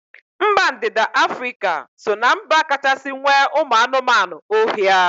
Mba ndịda Afrịka so ná mba kachasị nwee ụmụ anụmanụ ohia